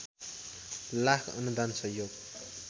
लाख अनुदान सहयोग